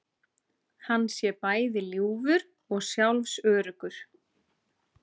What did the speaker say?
Hann sé bæði ljúfur og sjálfsöruggur